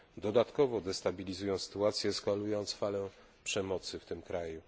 dodatkowo destabilizują sytuację, eskalując falę przemocy w tym kraju.